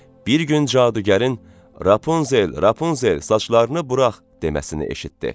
Bir gün cadugarın: "Rapunzel, Rapunzel, saçlarını burax!" deməsini eşitdi.